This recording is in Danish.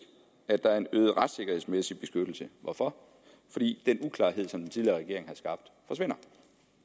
at der er en øget retssikkerhedsmæssig beskyttelse hvorfor fordi den uklarhed som den tidligere regering har skabt forsvinder